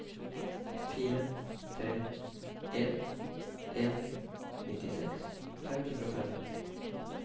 fire tre en en nittiseks fem hundre og fem